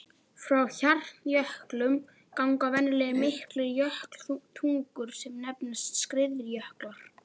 Frá hjarnjöklum ganga venjulega miklar jökultungur sem nefnast skriðjöklar.